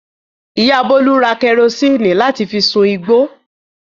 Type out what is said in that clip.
Ìyá Bólú ta kẹrósíínì láti fi sun igbó.